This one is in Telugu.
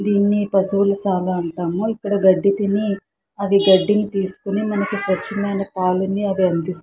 దీన్ని పశువుల సాగ అంటాము ఇక్కడ గడ్డి తినీ అది గడ్డిని తీసుకొని మనకు స్వచమైన పాలని అవి అందిస్తాయి.